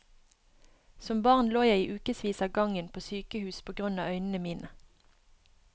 Som barn lå jeg i ukevis av gangen på sykehus på grunn av øynene mine.